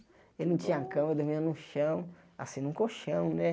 Eu não tinha cama, eu dormia no chão, assim, num colchão, né?